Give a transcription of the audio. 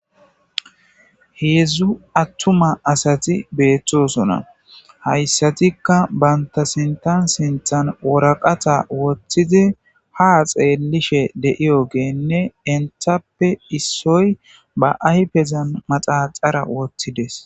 Heedzdzu attuma asati beettosona hayssatikka banta sintan sinthan woraqata woththidi ha xeellishe deiyo geenne enthappe issoy ba aypezan maxaxara woththides